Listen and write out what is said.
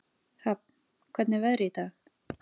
Hrafn, hvernig er veðrið í dag?